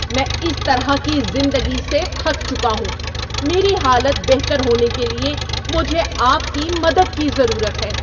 میں اس طرح کی زندگی سے تھک چکا ہوں! میری حالت بہتر ہونے کے لیے مجھے آپ کی مدد کی ضرورت ہے!